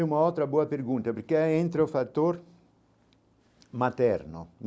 Uma outra boa pergunta, porque entra o fator materno.